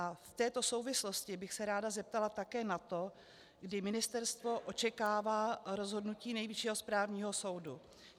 A v této souvislosti bych se ráda zeptala také na to, kdy ministerstvo očekává rozhodnutí Nejvyššího správního soudu.